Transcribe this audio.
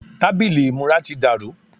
tábìlì ìmúra ti dàrú